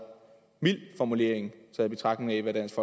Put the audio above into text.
mild formulering i betragtning af hvad dansk